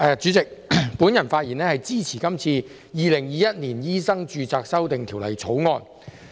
主席，我發言支持《2021年醫生註冊條例草案》。